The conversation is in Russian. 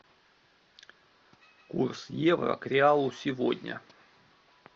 курс евро к реалу сегодня